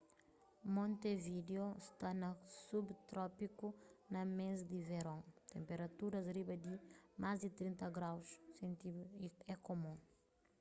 montevideo sta na subtropiku; na mês di veron tenperaturas riba di +30°c é kumun